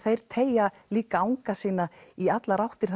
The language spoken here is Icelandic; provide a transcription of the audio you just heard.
teygja líka anga sína í allar áttir